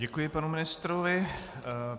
Děkuji panu ministrovi.